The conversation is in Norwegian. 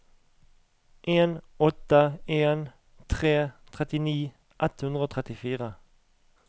en åtte en tre trettini ett hundre og trettifire